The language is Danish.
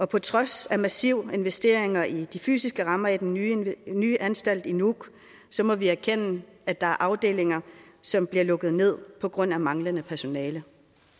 på trods af massive investeringer i de fysiske rammer i den nye nye anstalt i nuuk må vi erkende at der er afdelinger som bliver lukket ned på grund af manglende personale